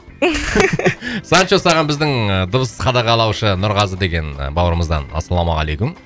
санчо саған біздің ыыы дыбыс қадағалаушы нұрғазы деген бауырымыздан ассалаумағалейкум